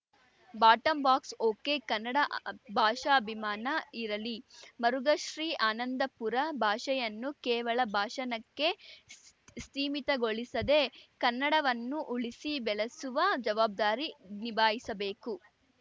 ಬಾಟಂಬಾಕ್ಸ ಒಕೆಕನ್ನಡ ಭಾಷಾಭಿಮಾನ ಇರಲಿ ಮರುಘ ಶ್ರೀ ಆನಂದಪುರ ಭಾಷೆಯನ್ನು ಕೇವಲ ಭಾಷಣಕ್ಕೆ ಸ್ ಸೀಮಿತಗೊಳಿಸದೇ ಕನ್ನಡವನ್ನು ಉಳಿಸಿ ಬೆಳೆಸುವ ಜವಾಬ್ದಾರಿ ನಿಭಾಯಿಸಬೇಕು